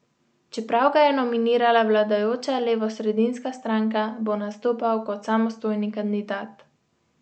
Čeprav ga je nominirala vladajoča levosredinska stranka, bo nastopal kot samostojni kandidat.